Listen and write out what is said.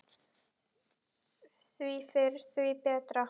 Því fyrr, því betra.